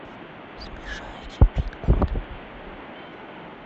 смешарики пин код